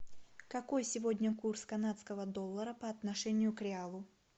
какой сегодня курс канадского доллара по отношению к реалу